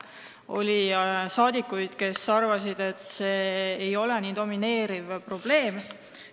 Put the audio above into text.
Oli saadikuid, kes arvasid, et see ei ole nii domineeriv probleem.